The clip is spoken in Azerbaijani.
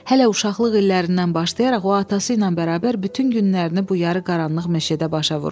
Hələ uşaqlıq illərindən başlayaraq o atası ilə bərabər bütün günlərini bu yarı qaranlıq meşədə başa vurmuşdu.